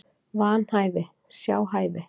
Vanhæfi, sjá hæfi